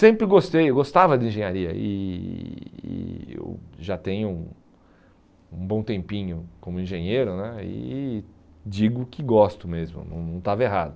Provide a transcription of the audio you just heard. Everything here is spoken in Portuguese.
Sempre gostei, eu gostava de engenharia e e eu já tenho um bom tempinho como engenheiro né e digo que gosto mesmo, não não estava errado.